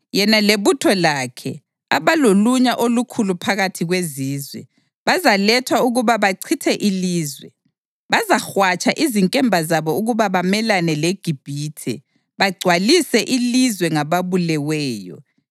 Yena lebutho lakhe, abalolunya olukhulu phakathi kwezizwe, bazalethwa ukuba bachithe ilizwe. Bazahwatsha izinkemba zabo ukuba bamelane leGibhithe bagcwalise ilizwe ngababuleweyo.